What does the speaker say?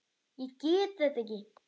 Ég get þetta ekki.